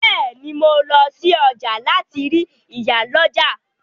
Bẹ́ẹ̀ ni, mo lọ sí ọjà láti rí ìyálọ́jà.